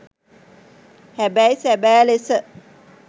හැබැයි සැබෑ ලෙස